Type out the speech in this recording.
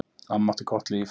Amma átti gott líf.